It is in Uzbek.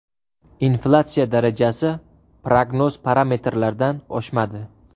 Inflyatsiya darajasi prognoz parametrlardan oshmadi.